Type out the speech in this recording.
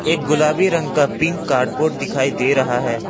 एक गुलाबी रंग का पिक कार्डबोर्ड दिखाई दे रहा है।